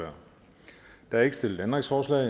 der er ikke stillet ændringsforslag